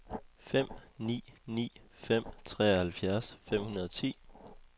fem ni ni fem treoghalvfjerds fem hundrede og ti